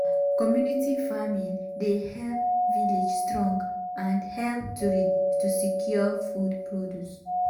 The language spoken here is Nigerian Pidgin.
community farming dey help village strong and help to secure food produce.